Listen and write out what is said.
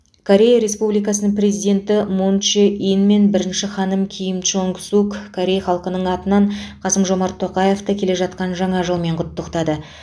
корея республикасының президенті мун чже ин мен бірінші ханым ким чжонг сук корей халқының атынан қасым жомарт тоқаевты келе жатқан жаңа жылмен құттықтады